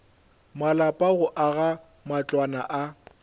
malapa go aga matlwana a